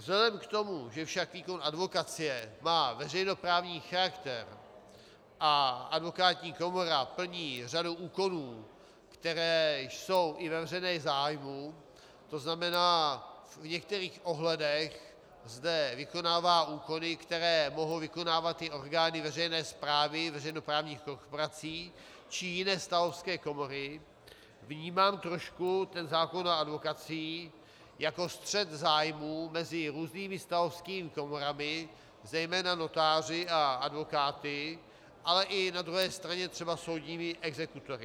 Vzhledem k tomu, že však výkon advokacie má veřejnoprávní charakter a advokátní komora plní řadu úkonů, které jsou i ve veřejném zájmu, to znamená, v některých ohledech zde vykonává úkony, které mohou vykonávat i orgány veřejné správy, veřejnoprávních korporací či jiné stavovské komory, vnímám trošku ten zákon o advokacii jako střet zájmů mezi různými stavovskými komorami, zejména notáři a advokáty, ale i na druhé straně třeba soudními exekutory.